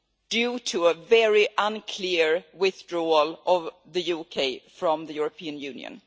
due to a very unclear withdrawal of the UK from the European Union.